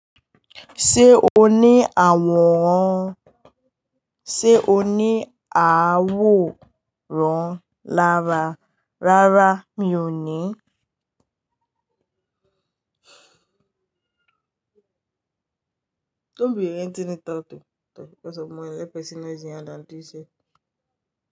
Ṣé o ní àwòrán, sé o ní àwòrán lára, rárá mi ò ní.